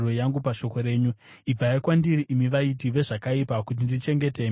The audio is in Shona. Ibvai kwandiri, imi vaiti vezvakaipa, kuti ndichengete mirayiro yaMwari wangu!